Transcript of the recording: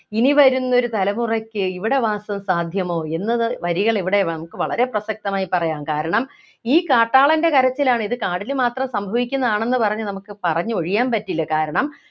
ഇനി വരുന്നൊരു തലമുറയ്ക്ക് ഇവിടെ വാസം സാധ്യമോ എന്നത് വരികളിവിടെ നമുക്ക് വളരെ പ്രസക്തമായി പറയാം കാരണം ഈ കാട്ടാളൻ്റെ കരച്ചിലാണ് ഇത് കാടിനു മാത്രം സംഭവിക്കുന്നതാണെന്നു പറഞ്ഞു നമുക്ക് പറഞ്ഞൊഴിയാൻ പറ്റില്ല കാരണം